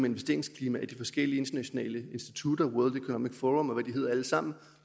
investeringsklima af de forskellige internationale institutter world economic forum og hvad de hedder alle sammen